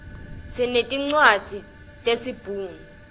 sinetincwadzi tesibhunu